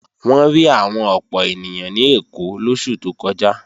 Wọ́n rí àwọn ọ̀pọ̀ ènìyàn ní Èkó lóṣù tó kọjá